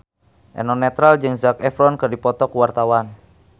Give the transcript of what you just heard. Eno Netral jeung Zac Efron keur dipoto ku wartawan